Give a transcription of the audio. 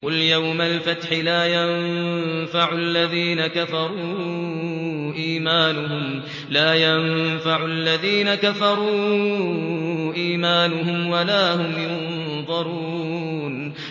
قُلْ يَوْمَ الْفَتْحِ لَا يَنفَعُ الَّذِينَ كَفَرُوا إِيمَانُهُمْ وَلَا هُمْ يُنظَرُونَ